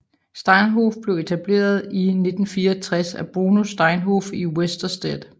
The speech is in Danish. Steinhoff blev etableret i 1964 af Bruno Steinhoff i Westerstede